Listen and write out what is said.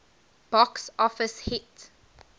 box office hit